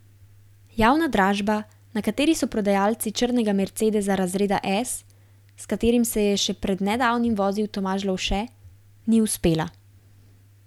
Javna dražba, na kateri so prodajali črnega mercedesa razreda S, s katerim se je še pred nedavnim vozil Tomaž Lovše, ni uspela.